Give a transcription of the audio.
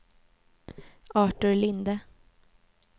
Artur Linde